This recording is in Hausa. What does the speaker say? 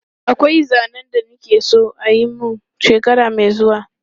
Akwai zanen da na ke so a yi mun shekara mai zuwa.